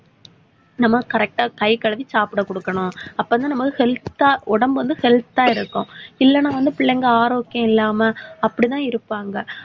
நம்ம correct ஆ கை கழுவி சாப்பிட குடுக்கணும். அப்பதான் நம்ம health ஆ உடம்பு வந்து health ஆ இருக்கும். இல்லைன்னா வந்து பிள்ளைங்க ஆரோக்கியம் இல்லாம அப்படித்தான் இருப்பாங்க.